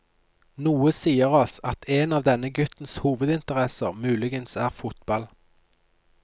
Noe sier oss at en av denne guttens hovedinteresser muligens er fotball.